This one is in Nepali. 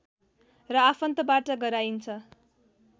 र आफन्तबाट गराइन्छ